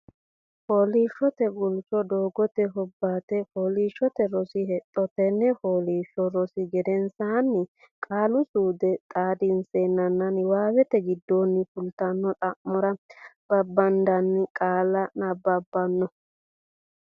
Fooliishshote Guulcho Doogote Hobbate Fooliishshote Rosi Hexxo Tenne fooliishsho rosi gedensaanni Qaali suude xaadissanninna Niwaawete giddonni fultino xa mora babbaddanni qaalla nabbabbano.